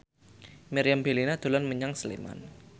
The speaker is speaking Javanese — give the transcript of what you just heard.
Meriam Bellina dolan menyang Sleman